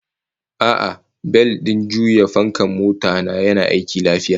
A'a, bel din juya fankan mota ta yana aiki lafiya